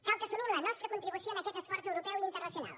cal que assumim la nostra contribució en aquest esforç europeu i internacional